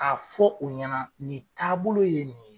Ka fɔ u ɲɛna nin taabolo ye nin ye.